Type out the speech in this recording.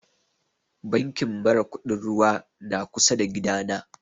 Bankin mara kuɗin ruwa na kusa da gida na